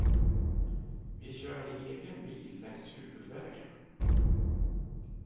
Vi kör i egen bil längs huvudvägen.